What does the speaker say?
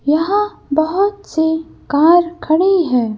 यहाँ बहुत सी कार खड़ी है।